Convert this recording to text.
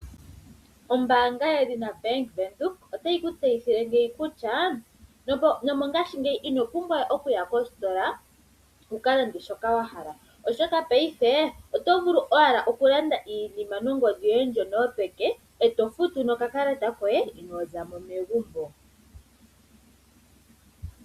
Ombaanga yoBank Windhoek otayi ku tseyithile kutya, mongaashingeyi ino pumbwa okuya kositola, wukalande shoka wahala, oshoka mopaife oto vulu owala okulanda iinima nongodhi yoye yopeke, e tofutu nokakalata koye, inoozamo megumbo.